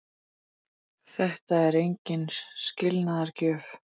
Þetta er engin skilnaðargjöf.